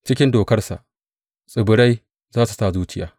Cikin dokarsa tsibirai za su sa zuciya.